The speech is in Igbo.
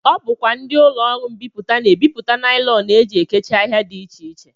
Ọ bụkwa ndị ụlọọrụ mbipụta na-ebipụta naịlọn e ji ekechi ahịa dị iche iche